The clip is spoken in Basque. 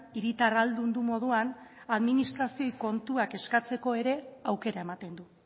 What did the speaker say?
hiritar ahaldundu moduan administrazioari kontuak eskatzeko ere aukera ematen du